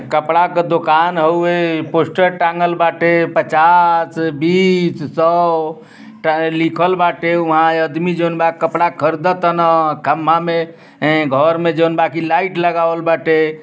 कपड़ा क दुकान हउए। पोस्टर टाँगल बाटे। पचास बीस सो टा लिखल बाटे। उहाँ आदमी जोनबा कपड़ा खरद तानअ। खंभा मे ए घर में जोन बा की लाइट लगावल बाटे।